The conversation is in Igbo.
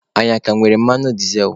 Anyị aka nwere mmanụ dizel?